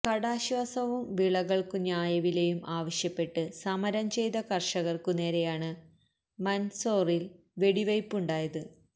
കടാശ്വാസവും വിളകൾക്കു ന്യായവിലയും ആവശ്യപ്പെട്ട് സമരം ചെയ്ത കർഷകർക്കു നേരെയാണ് മൻസോറിൽ വെടിവയ്പുണ്ടായത്